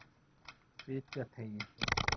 Fitjateigi